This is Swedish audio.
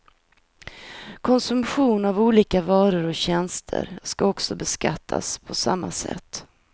Konsumtion av olika varor och tjänster skall också beskattas på samma sätt.